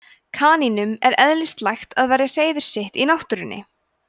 kanínum er eðlislægt að verja hreiður sitt í náttúrunni